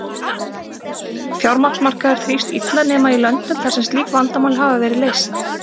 Fjármagnsmarkaður þrífst illa nema í löndum þar sem slík vandamál hafa verið leyst.